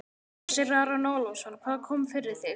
Hersir Aron Ólafsson: Hvað kom fyrir þig?